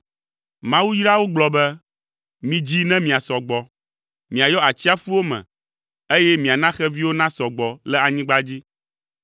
Mawu yra wo gblɔ be, “Midzi ne miasɔ gbɔ, miayɔ atsiaƒuwo me, eye miana xeviwo nasɔ gbɔ le anyigba dzi.”